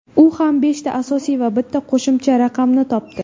U ham beshta asosiy va bitta qo‘shimcha raqamni topdi.